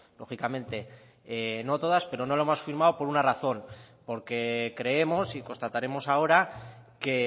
lógicamente no todas pero no lo hemos firmado por una razón porque creemos y constataremos ahora que